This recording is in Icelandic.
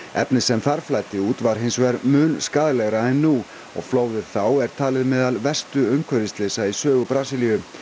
efnið sem þar flæddi út var hins vegar mun skaðlegra og flóðið þá er talið meðal verstu umhverfisslysa í sögu Brasilíu námarisinn